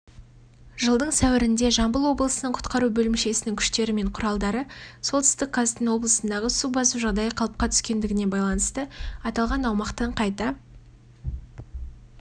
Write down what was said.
жылдың сәуірінде жамбыл облысының құтқару бөлімшесінің күштері мен құралдары солтүстік қазақстан облысындағы су басу жағдайы қалыпқа түскендігіне байланысты аталған аумақтан қайта